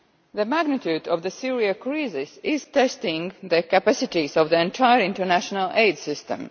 The magnitude of the Syrian crisis is testing the capacities of the entire international aid system.